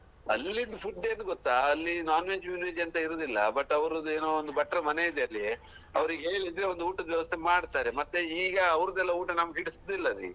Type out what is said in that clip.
ಅಲ್ಲಿದು food ಏನೋ ಗೊತ್ತಾ ಅಲ್ಲಿ non veg ವಿನ್ veg ಎಂತ ಇರುದಿಲ್ಲ but ಅವ್ರದ್ದು ಏನೋ ಒಂದು ಭಟ್ರ ಮನೆಯಿದೆ ಅಲ್ಲಿ ಅವರಿಗೆ ಹೇಳಿದ್ರೆ ಒಂದು ಊಟದ ವ್ಯವಸ್ತೆ ಮಾಡ್ತಾರೆ ಮತ್ತೆ ಈಗ ಅವ್ರುದೆಲ್ಲಾ ಊಟ ನಮ್ಗೆ ಇಡಿಸ್ತಿಲ್ಲರಿ.